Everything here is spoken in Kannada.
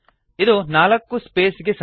ಇದು ನಾಲ್ಕು ಸ್ಪೇಸ್ ಗೆ ಸಮ